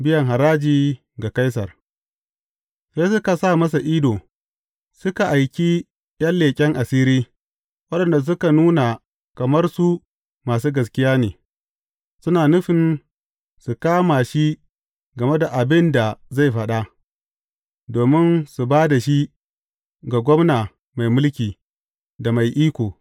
Biyan haraji ga Kaisar Sai suka sa masa ido, suka aiki ’yan leƙen asiri, waɗanda suka nuna kamar su masu gaskiya ne, suna nufin su kama shi game da abin da zai faɗa, domin su ba da shi ga gwamna mai mulki, da mai iko.